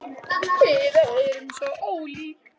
Við erum svo ólík.